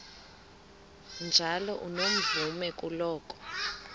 njalo unomvume kuloko